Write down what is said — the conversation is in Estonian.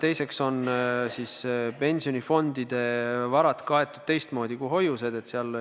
Teiseks on pensionifondide varad kaetud teistmoodi kui hoiused.